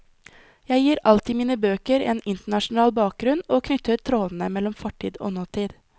Jeg gir alltid mine bøker en internasjonal bakgrunn og knytter trådene mellom fortid og nåtid.